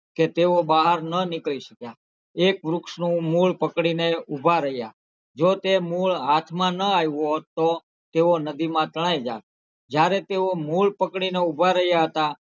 કે તેઓ બહાર ના નીકળી શકયા એક વ્રુક્ષનું મૂળ પકડીને ઉભા રહ્યાં જો તે મૂળ હાથમાં નાં આવ્યું હોત તો તેઓ નદીમાં તણાઈ જાત જયારે તેઓ મૂળ પકડીને ઉભા રહ્યાં હતાં,